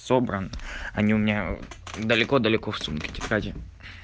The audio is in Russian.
собран они у меня далеко-далеко в сумке тетради